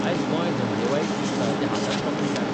आज गोंय धंदेवाईक दिसता तें हाकाच लागून काय?